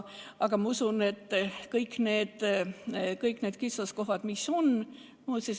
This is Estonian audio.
Aga ma usun, et kõik need kitsaskohad, mis on, kohe ei kao.